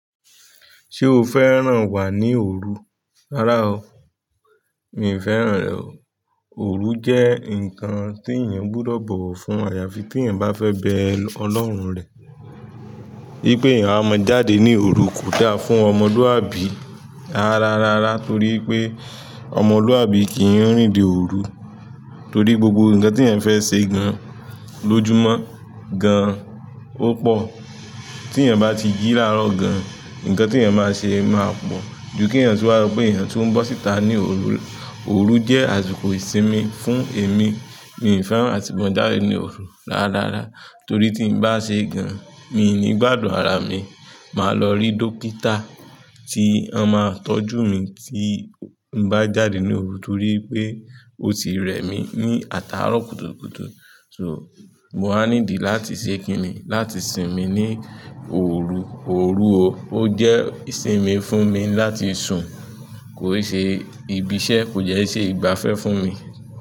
Ṣé o fẹ́ràn wà ní òru? Rárá o, mi ò fẹ́ràn rẹ̀ o. Òru jẹ́ ǹkan tí èyàn gbúdọ̀ bọ̀wọ̀ fún àyàfi tí èèyàn bá fẹ́ bẹ Ọlọ́run rẹ̀. Wípé èyàn amo jáde ní òru kò dáa fún ọmọlúàbí. Rárá, rárá torí pé ọmọlúàbí kì n rìnde òru. Torí gbogbo nǹkan tí èyàn fẹ́ ṣe gan lójúmọ́ gan ó pò. Tí èyàn bá ti jí láró gan, nkan tí èyàn máa ṣe máa pọ̀. Ju kí'yàn tu wá so pé èyàn tún n bọ́ síta ní òru. Òru jẹ́ àsìkò ìsinmi fún èmi. Mi ò fẹ́ràn àti máa jáde ní òru rárá, rárá. Torí tí n bá ṣe gan, mi ní gbádùn ara mi. Màá lọ rí dókítà tí ó máa tọ́jú mi tí n bá jáde ní òru torí pé ó ti rẹ mi ní atárọ́ kùtùkùtù. So, mo á ní di láti ṣe kíni, láti sinmi ní òru. Òru o, ó jẹ́ ìsinmi fún mi láti sùn, kò ṣe ibi iṣẹ́, kò dẹ́ iṣẹ́ ìgbafẹ́ fún mi.